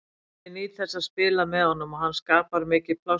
Ég nýt þess að spila með honum og hann skapar mikið pláss fyrir mig.